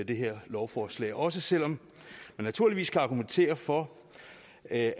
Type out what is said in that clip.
det her lovforslag også selv om der naturligvis kan argumenteres for at